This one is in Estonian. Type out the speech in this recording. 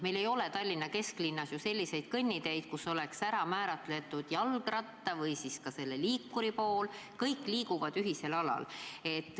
Meil ei ole Tallinna kesklinnas ju kõnniteid, kus oleks ära määratud jalgratta või ka selle liikuri pool, kõik liiguvad ühisel alal.